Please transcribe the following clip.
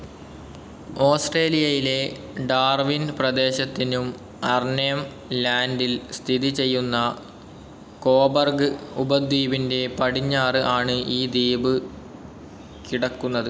ഓസ്ട്രേലിയയിലെ ഡാർവിൻ പ്രദേശത്തിനും അർനേം ലാൻഡിൽ സ്ഥിതിചെയ്യുന്ന കൊബർഗ് ഉപദ്വീപിൻ്റെ പടിഞ്ഞാറ് ആണ് ഈ ദ്വീപ് കിടക്കുന്നത്.